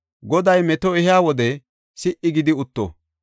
Goday meto ehiya wode si77i gidi utto.